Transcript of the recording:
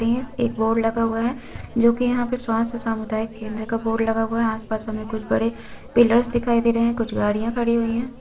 इस एक बोर्ड लगा हुआ है जोकि यहाँ पे स्वास्थ्य सामुदायिक केन्द्र का बोर्ड लगा हुआ है आसपास हमें कुछ बड़े पिलर्स दिखाई दे रहे है कुछ गाड़ियाँ खड़ी हुई हैं।